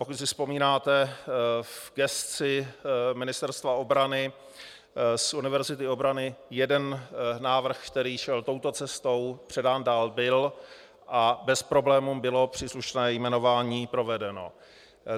Pokud si vzpomínáte, v gesci Ministerstva obrany z Univerzity obrany jeden návrh, který šel touto cestou, předán dál byl a bez problémů bylo příslušné jmenování provedeno.